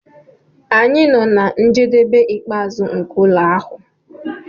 anyị nọ na njedebe ikpeazụ nke ụlọ ahụ